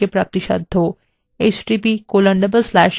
এই বিষয় বিস্তারিত তথ্য এই লিঙ্কএ প্রাপ্তিসাধ্য